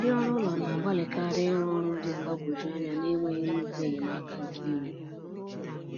Ndị ọrụ ụlọ na-agbalịkarị ịrrụ ọrụ dị mgbagwoju anya n’enweghị nnukwu enyemaka nke iwu.